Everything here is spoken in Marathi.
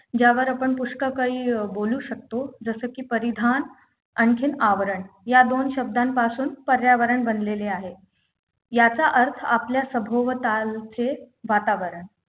ज्यावर आपण पुष्कळ काही अं बोलू शकतो जसं की परिधान आणखीन आवरण या दोन शब्दांपासून पर्यावरण बनलेले आहे याचा अर्थ आपल्या सभोवतालचे वातावरण